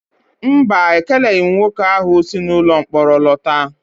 Mba, ekeleghị m nwoke ahụ si ụlọmkpọrọ lọta